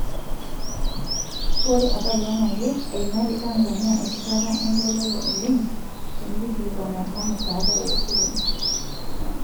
Ore apailong ake emaitie Tanzania erishata engoloto oleng tonkilikwanat emusada wosilen.